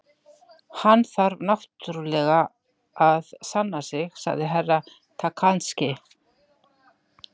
Hann þarf náttúrulega að sanna sig, sagði Herra Takashi.